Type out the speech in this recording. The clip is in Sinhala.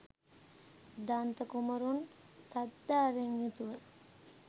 දන්ත කුමරුන් ශ්‍රද්ධාවෙන් යුතුව